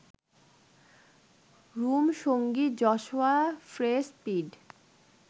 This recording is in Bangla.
রুম সঙ্গী যশোয়া ফ্রে স্পিড